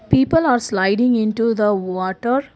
people are sliding into the water.